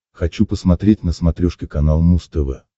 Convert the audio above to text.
хочу посмотреть на смотрешке канал муз тв